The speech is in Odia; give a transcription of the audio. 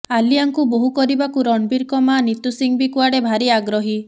ଆଲିଆଙ୍କୁ ବୋହୂ କରିବାକୁ ରଣବୀରଙ୍କ ମାଆ ନିତୁ ସିଂହ ବି କୁଆଡ଼େ ଭାରି ଆଗ୍ରହୀ